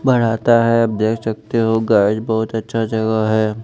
बढ़ाता है आप देख सकते हो गाइज बहोत अच्छा जगह है।